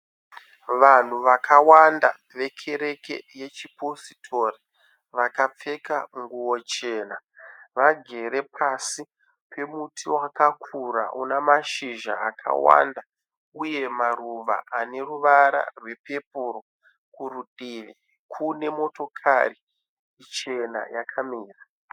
Vanhu vakawanda vekereke yechipositori vakapfeka nguwo chena. Vagere pasi pemuti wakakura une mashizha akawanda uye maruva ane ruvara rwepepuro. Kudivi kune motikari chena yakamira.